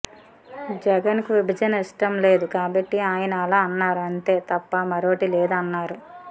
జగన్ కు విభజన ఇష్టం లేదు కాబట్టి ఆయన అలా అన్నారు అంతే తప్ప మరోటి లేదు అన్నారు